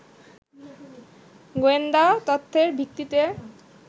গোয়েন্দা তথ্যের ভিত্তিতে